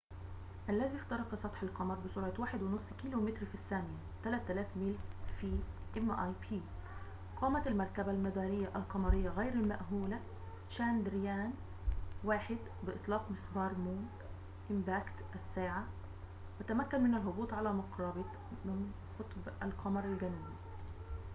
قامت المركبة المدارية القمرية غير المأهولة تشاندرايان-1 بإطلاق مسبار مون إمباكت mip، الذي اخترق سطح القمر بسرعة 1.5 كيلومتر في الثانية 3000 ميل في الساعة، وتمكن من الهبوط على مقربة من قطب القمر الجنوبي